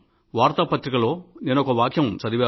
వార్తా పత్రికలో నేనొక వాక్యం చదివాను